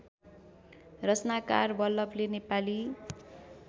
रचनाकार वल्लभले नेपाली